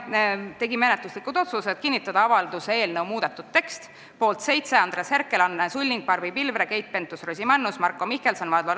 Tegime menetlusliku otsuse kinnitada avalduse eelnõu muudetud tekst, mille poolt oli 7 ja vastu 3 komisjoni liiget , erapooletuid oli 0.